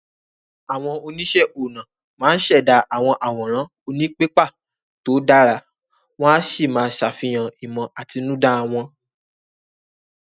Àwọn oníṣẹ́ ọnà máa ń ṣẹ̀dá àwọn àwòrán òní pépà tó dára, Wọ́n á sì máa ṣàfihàn ìmọ̀ àtinúdá wọn